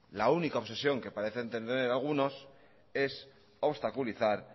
la única obsesión que parece entender algunos es obstaculizar